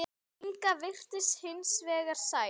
Inga virtist hins vegar sæl.